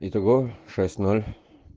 итого шесть ноль